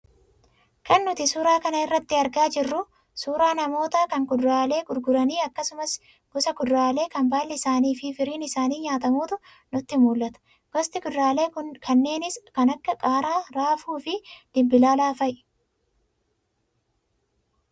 Kan nuti suuraa kana irraa argaa jirru, suuraa namootaa kan kuduraalee gurguranii akkasumas gosa kuduraalee kan baalli isaanii fi firiin isaanii nyaatamuutu nutti mul'ata. Gosti kuduraalee kanneeniis kan akka; qaaraa, raafuu fi dimbilaala fa'i.